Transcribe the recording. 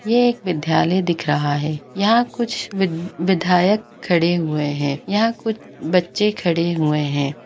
ये एक विद्यालय दिख रहा है यहाँ कुछ विध-विधायक खड़े हुए है यहाँ कुछ बच्चे खड़े हुए है।